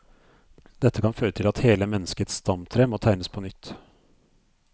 Dette kan føre til at hele menneskets stamtre må tegnes på nytt.